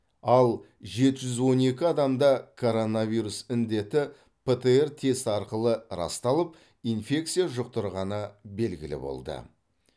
ал жеті жүз он екі адамда коронавирус індеті птр тест арқылы расталып инфекция жұқтырғаны белгілі болды